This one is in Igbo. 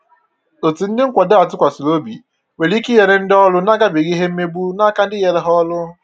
Ọtu ndị nkwado a tụkwasịrị obi nwere ike inyere ndị ọrụ na-agabiga ìhè mmegbu na áká ndi nyere ha ọrụ